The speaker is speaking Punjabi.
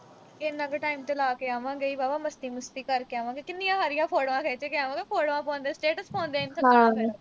ਇੰਨਾ ਕੁ time ਤਾਂ ਲਾ ਕੇ ਆਵਾਂਗੇ ਹੀ, ਵਾਹਵਾ ਮਸਤੀ-ਮੁਸਤੀ ਕਰ ਕੇ ਆਵਾਂਗੇ, ਕਿੰਨੀਆਂ ਸਾਰੀਆਂ photos ਖਿੱਚੇ ਕੇ ਆਵਾਂਗੇ photos ਪਾਉਣ ਦਾ videos ਪਾਉਣ ਦਾ